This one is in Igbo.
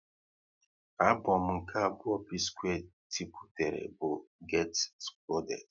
Abom nke abụọ P-square tiputere bụ "Get Squared"